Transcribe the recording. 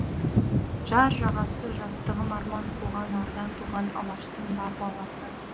жар жағасы жастығым арман қуған ардан туған алаштың бар баласы